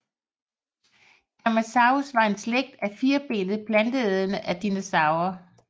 Camarasaurus var en slægt af firbenede planteædende dinosaurer